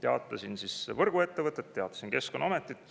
Teatasin siis võrguettevõttele, teatasin Keskkonnaametile.